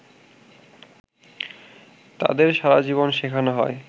তাদের সারাজীবন শেখানো হয়